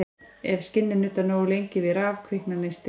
Ef skinni er nuddað nógu lengi við raf kviknar neisti.